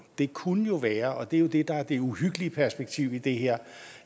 det kunne jo være og det er jo det der er det uhyggelige perspektiv i det her